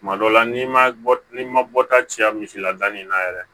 Kuma dɔ la n'i ma bɔ n'i ma bɔta caya misi la danni na yɛrɛ